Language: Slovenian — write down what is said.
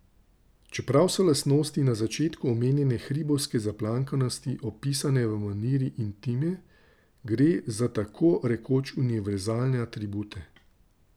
Čeprav so lastnosti na začetku omenjene hribovske zaplankanosti opisane v maniri intime, gre za tako rekoč univerzalne atribute.